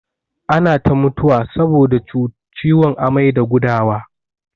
Ana ta mutuwa saboda ciwon amai da gudawa.